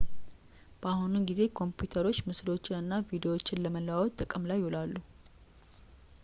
በአሁኑ ጊዜ ኮምፒተሮች ምስሎችን እና ቪዲዎችን ለመለዋወጥ ጥቅም ላይ ይውላሉ